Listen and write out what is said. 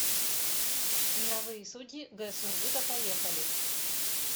мировые судьи г сургута поехали